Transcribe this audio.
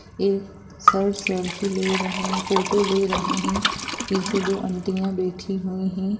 एक sir selfie ले रहे हैं फोटो ले रहे हैं पीछे दो आंटियां बैठी हुई हें।